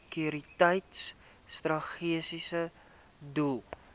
sekuriteitsoperasies strategiese doel